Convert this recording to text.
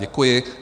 Děkuji.